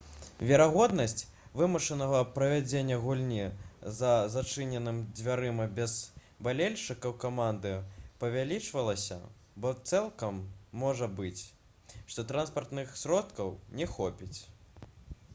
верагоднасць вымушанага правядзення гульні за зачыненымі дзвярыма без балельшчыкаў каманды павялічвалася бо цалкам можа быць што транспартных сродкаў не хопіць